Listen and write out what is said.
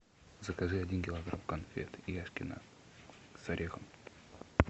закажи один килограмм конфет яшкино с орехом